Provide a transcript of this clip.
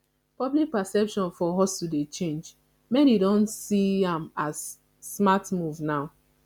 public perception of hustle dey change many dey don see am as smart move now